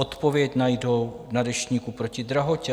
Odpověď najdou na Deštníku proti drahotě.